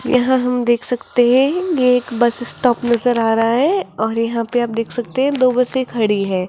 यहां हम देख सकते हैं ये एक बस स्टॉप नजर आ रहा है और यहां पे आप देख सकते हैं दो बसे खड़ी हैं।